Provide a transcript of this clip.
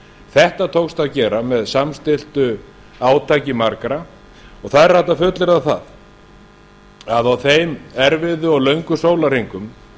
þetta tókst að gera með samstilltu átaki margra og það er hægt að fullyrða að á þeim erfiðu og löngu sólarhringum